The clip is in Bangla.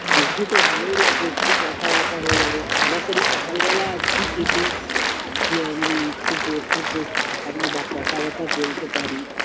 আসবি তো ভালোই লাগবে একটু কথা বথা হয়ে যাবে তাড়াতাড়ি সকালবেলায় আসবি যদি ইয়ে মানে একটু বসে বসতে পারি বা কথা বথা বলতে পারি